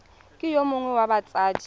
ke yo mongwe wa batsadi